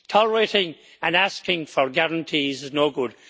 Tolerating and asking for guarantees is no good.